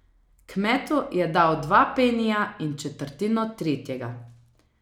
Kmetu je dal dva penija in četrtino tretjega.